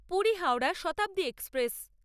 Puri Howrah Shatabdi express